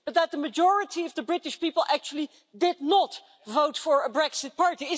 The majority of the British people actually did not vote for a Brexit party.